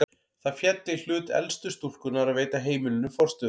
Það féll í hlut elstu stúlkunnar að veita heimilinu forstöðu.